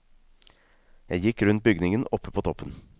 Jeg gikk rundt bygningen oppe på toppen.